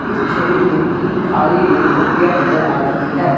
इस छवि में तीन खाली रेल पटरियां नजर आ रही है।